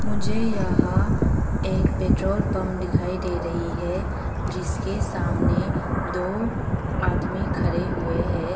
मुझे यहां एक पेट्रोल पंप दिखाई दे रही है जिसके सामने दो आदमी खड़े हुए हैं।